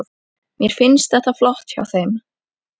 Mér finnst þetta flott hjá þeim.